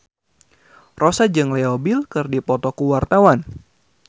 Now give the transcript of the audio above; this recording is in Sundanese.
Rossa jeung Leo Bill keur dipoto ku wartawan